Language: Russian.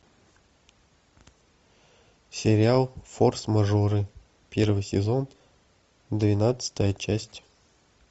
сериал форс мажоры первый сезон двенадцатая часть